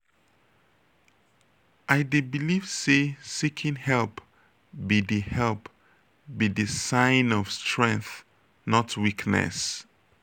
i dey believe say seeking help be di help be di sign of strength not weakness.